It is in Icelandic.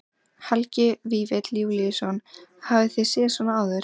Helgi Vífill Júlíusson: Hafið þið séð svona áður?